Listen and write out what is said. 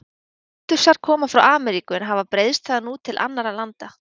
Kaktusar koma frá Ameríku en hafa breiðst þaðan út til annarra landa.